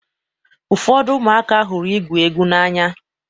Ụfọdụ ụmụaka hụrụ igwu egwu n'anya.